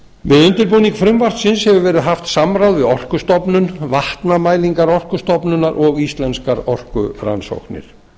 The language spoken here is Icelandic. við undirbúning frumvarpsins hefur verið haft samráð við orkustofnunvatnamælingar orkustofnunar og íslenskar orkurannsóknir